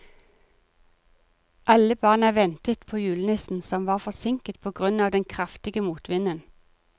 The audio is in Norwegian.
Alle barna ventet på julenissen, som var forsinket på grunn av den kraftige motvinden.